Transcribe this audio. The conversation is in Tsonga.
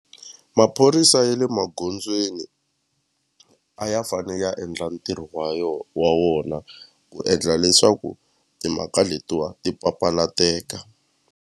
Maphorisa ya le magondzweni a ya fane ya endla ntirho wa yo wa wona ku endla leswaku timhaka letiwa ti papalateka.